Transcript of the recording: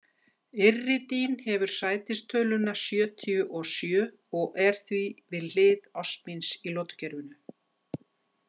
Iridín hefur sætistöluna sjötíu og sjö og er því við hlið osmíns í lotukerfinu.